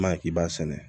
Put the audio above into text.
Ma k'i b'a sɛnɛ